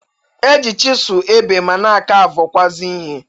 E ji chịsụlụ ebe ma na a kavụkwụazị ihe.